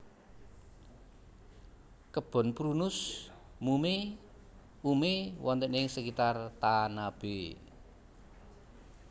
Kebon Prunus mume ume wonten ing sekitar Tanabe